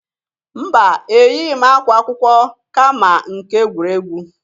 Mba! Eyịghi m akwa akwụkwọ, kama nke egwuregwu.